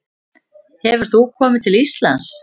Hefur þú komið til Íslands?